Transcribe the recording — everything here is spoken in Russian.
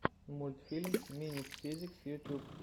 мультфильм минит физикс ютуб